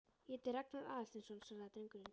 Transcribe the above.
Ég heiti Ragnar Aðalsteinsson- svaraði drengurinn.